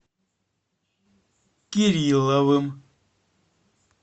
кирилловым